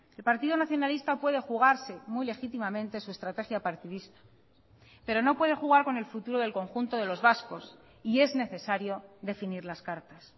el partido nacionalista puede jugarse muy legítimamente su estrategia partidista pero no puede jugar con el futuro del conjunto de los vascos y es necesario definir las cartas